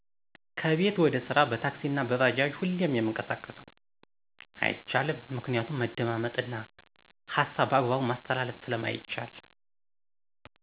ከቤት ወደ ስራ በታክሲ አና በባጃጅ ሁሌም የምንቀሳቀሰው። አይቻልም ምክንያቱም መደማመጥ እና ሀሳብ በአግባቡ ማስተላለፍ ስለማይቻል